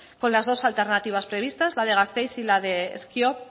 con las dos alternativas previstas la de gasteiz y la de ezkio